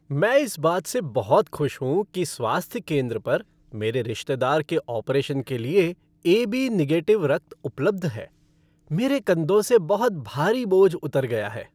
मैं इस बात से बहुत खुश हूँ कि स्वास्थ्य केंद्र पर मेरे रिश्तेदार के ऑपरेशन के लिए ए.बी. निगेटिव रक्त उपलब्ध है। मेरे कंधों से बहुत भारी बोझ उतर गया है।